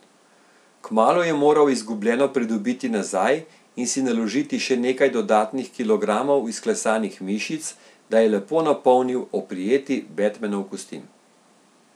Kmalu je moral izgubljeno pridobiti nazaj in si naložiti še nekaj dodatnih kilogramov izklesanih mišic, da je lepo napolnil oprijeti Batmanov kostim.